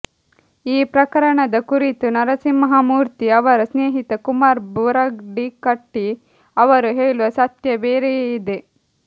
ಈ ಪ್ರಕರಣದ ಕುರಿತು ನರಸಿಂಹಮೂರ್ತಿ ಅವರ ಸ್ನೇಹಿತ ಕುಮಾರ್ ಬುರಡಿಕಟ್ಟಿ ಅವರು ಹೇಳುವ ಸತ್ಯ ಬೇರೆಯೇ ಇದೆ